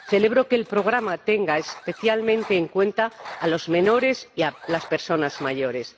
Celebro que el programa tenga especialmente en cuenta a los menores y a las personas mayores.